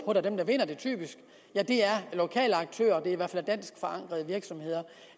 og dem der vinder det typisk er lokale aktører i hvert fald dansk forankrede virksomheder